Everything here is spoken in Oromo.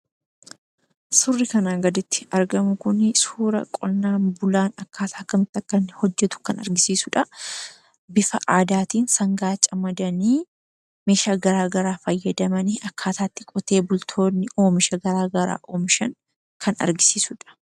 Suurri kan gaditti argamu kun suuraa qonnaan bulaan akkaataa kamiin akkanni hojjetu kan argisiisudha. Bufa aadaatiin sangaa camadanii, meeshaa gara garaa fayyadamanii akkaataa itti qotee bultoonni oomisha gara garaa oomishan kan argisiisudha.